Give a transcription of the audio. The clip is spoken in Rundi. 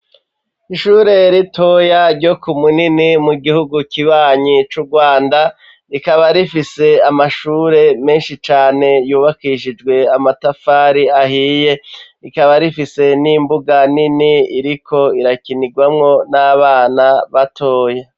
Ishure ritoya, ryo ku Munini, mu gihugu kibanyi c'Urwanda, rikaba rifise, amashure menshi cane, yubakishijwe amatafari ahiye; rikaba rifise n'imbuga nini, iriko irakinirwamwo, n'abana batoya.